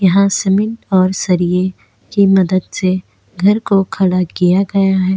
यहाँ सीमेंट और सरिये की मदद से घर को खड़ा किया गया है।